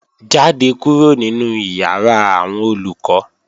Jáde kúrò nínu ìyàrá àwọn Olùkọ́!